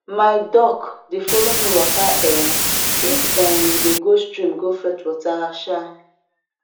my duck dey follow me waka um if um we dey go stream go fetch water um